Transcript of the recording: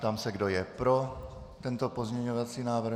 Ptám se, kdo je pro tento pozměňovací návrh.